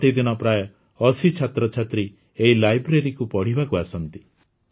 ପ୍ରତିଦିନ ପ୍ରାୟ ଅଶୀ ଛାତ୍ରଛାତ୍ରୀ ଏହି ଲାଇବ୍ରେରୀକୁ ପଢ଼ିବାକୁ ଆସନ୍ତି